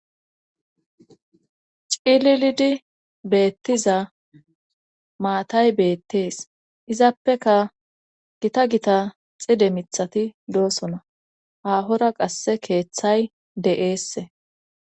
cililidi beettiza maatay beettees izappeka gita gita xide mithati doosona aahora qasse keeththay de7eesse